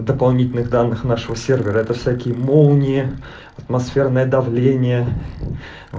дополнительных данных нашего сервера это всякий молнии атмосферное давление